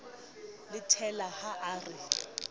le thella ha a re